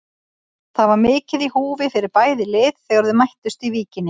Það var mikið í húfi fyrir bæði lið þegar þau mættust í Víkinni.